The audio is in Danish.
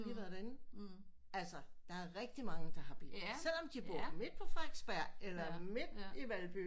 Vi har været derinde altså der er rigtig mange der har bil selvom de bor midt på Frederiksberg eller midt i Valby